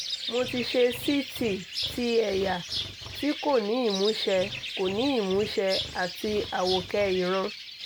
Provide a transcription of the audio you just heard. mo ti ṣe ct ti ẹ̀yà tí kò ní ìmúṣẹ kò ní ìmúṣẹ àti àwòkẹ́ ìran